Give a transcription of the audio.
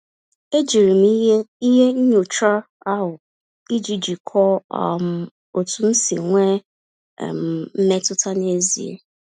E jiri m ihe ihe nyocha ahụ, iji jikọọ um otu m si enwe um mmetụta n'ezie.